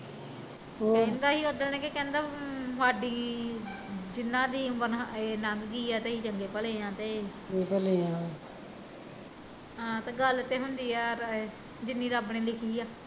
ਕਹਿੰਦਾ ਸੀ ਕਿ ਸਾਡੀ ਉਦਣ ਜਿਨਾ ਦੀ ਉਮਰ ਲੰਘ ਗਈ ਐ ਤੇ ਅਸੀਂ ਚੰਗੇ ਭਲੇ ਆ ਤੇ ਹਾਂ ਤੇ ਗੱਲ ਤੇ ਹੁੰਦੀ ਐ, ਜਿੰਨੀ ਰੱਬ ਨੇ ਲਿਖੀ ਐ